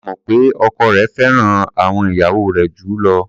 A mọ̀ pé ọkọ rẹ̀ fẹ́ràn àwọn ìyàwó rẹ̀ jù ú lọ.